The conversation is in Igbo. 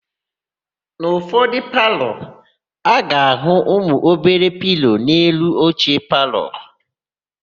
N'ụfọdụ palọ, a ga-áhụ̀ ụmụobere pilo n'elu oche palọ.